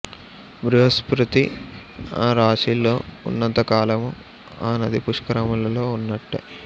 బృహస్పతి ఆ రాశిలో ఉన్నంతకాలము ఆ నది పుష్కరములో ఉన్నట్టే